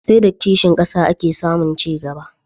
Sai da kishin ƙasa ake samun ci gaba.